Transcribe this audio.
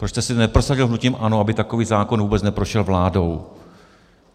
Proč jste si neprosadil hnutím ANO, aby takový zákon vůbec neprošel vládou?